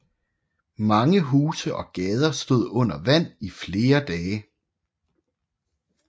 Mange huse og gader stod under vand i flere dage